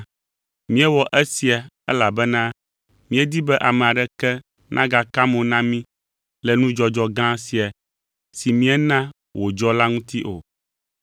Míewɔ esia elabena míedi be ame aɖeke nagaka mo na mí le nudzɔdzɔ gã sia, si míena wodzɔ la ŋuti o.